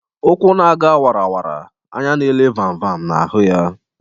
Ụkwụ na- aga wara wara, anya n'ele vam vam na-ahụ ya.